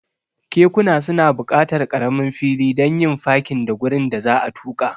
Kekuna suna buƙatar ƙaramin fili don yin fakin da gurin da za'a tuka.